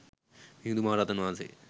මිහිඳු මහ රහතන් වහන්සේ